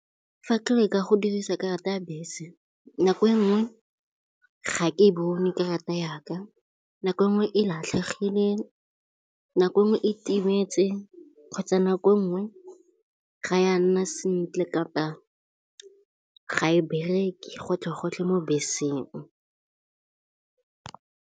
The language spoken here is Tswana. Fa ke leka go dirisa karata ya bese, nako e nngwe ga ke bone kerata yaka. Nako e nngwe e latlhegile, nako e nngwe e timetse kgotsa nako nngwe ga ya nna sentle, kapa ga e bereke gotlhe gotlhe mo beseng.